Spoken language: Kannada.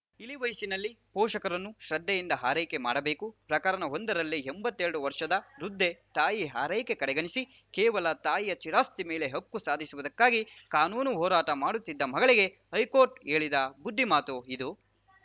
ಇಳಿ ವಯಸ್ಸಿನಲ್ಲಿ ಪೋಷಕರನ್ನು ಶ್ರದ್ಧೆಯಿಂದ ಆರೈಕೆ ಮಾಡಬೇಕು ಪ್ರಕರಣವೊಂದರಲ್ಲಿ ಎಂಬತ್ತೆರಡು ವರ್ಷದ ವೃದ್ಧೆ ತಾಯಿ ಆರೈಕೆ ಕಡೆಗಣಿಸಿ ಕೇವಲ ತಾಯಿಯ ಸ್ಥಿರಾಸ್ತಿ ಮೇಲೆ ಹಕ್ಕು ಸಾಧಿಸುವುದಕ್ಕಾಗಿ ಕಾನೂನು ಹೋರಾಟ ಮಾಡುತ್ತಿದ್ದ ಮಗಳಿಗೆ ಹೈಕೋರ್ಟ್‌ ಹೇಳಿದ ಬುದ್ಧಿಮಾತು ಇದು